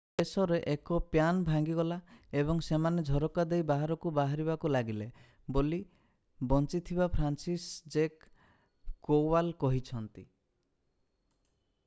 ଶେଷରେ 1 ପ୍ୟାନ୍ ଭାଙ୍ଗିଗଲା ଏବଂ ସେମାନେ ଝରକା ଦେଇ ବାହାରକୁ ବାହାରିବାକୁ ଲାଗିଲେ ବୋଲି ବଞ୍ଚିଥିବା ଫ୍ରାନ୍ସିସଜେକ୍ କୋୱାଲ କହିଛନ୍ତି